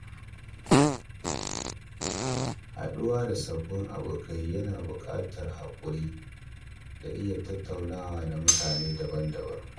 Haɗuwa da sabbin abokai yana buƙatar haƙuri da iya tattaunawa da mutane daban-daban.